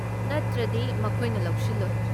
ꯅꯠꯇ꯭ꯔꯗꯤ, ꯃꯈꯣꯏꯅ ꯂꯧꯁꯤꯜꯂꯣꯏ꯫